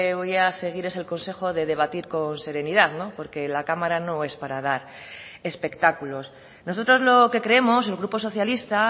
voy a seguir es el consejo de debatir con serenidad porque la cámara no es para dar espectáculos nosotros lo que creemos el grupo socialista